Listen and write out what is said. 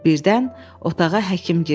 Birdən otağa həkim girdi.